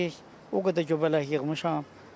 O qədər göbələk yığmışam.